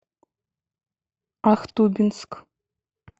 ахтубинск